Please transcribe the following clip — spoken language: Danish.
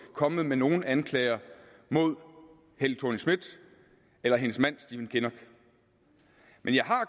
kommet med nogen anklager mod helle thorning schmidt eller hendes mand stephen kinnock men jeg er